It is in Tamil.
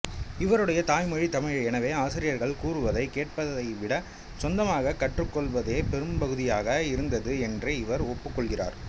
இவருடைய தாய்மொழி தமிழ் எனவே ஆசிரியர்கள் கூறுவதைக் கேட்பதைவிடச் சொந்தமாகக் கற்றுக்கொள்வதே பெரும்பகுதியாக இருந்தது என்று இவர் ஒப்புக்கொள்கிறார்